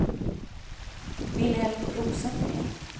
Vilhelm Rosengren